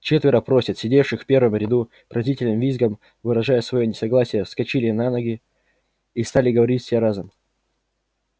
четверо поросят сидевших в первом ряду пронзительным визгом выражая своё несогласие вскочили на ноги и стали говорить все разом